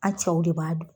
An cɛw de b'a dun